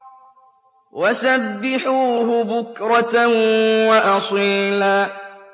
وَسَبِّحُوهُ بُكْرَةً وَأَصِيلًا